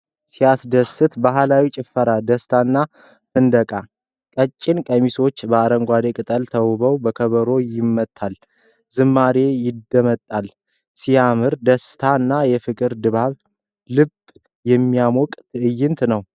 ሲያስደስት! ባህላዊ ጭፈራ፣ ደስታና ፍንደቃ። ነጭ ቀሚሶች በአረንጓዴ ቅጠል ተውበዋል። ከበሮ ይመታል፣ ዝማሬ ይደመጣል። ሲያምር፣ የደስታና የፍቅር ድባብ። ልብን የሚያሞቅ ትዕይንት!